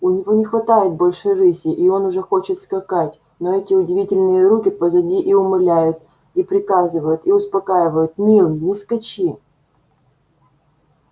у него не хватает больше рыси и он уже хочет скакать но эти удивительные руки позади и умоляют и приказывают и успокаивают милый не скачи